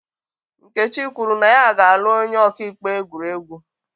Nkechi kwuru na ya ga-alụ onye ọka ikpe egwuriegwu.